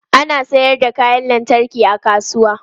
Ana sayar da kayan lantarki a kasuwa.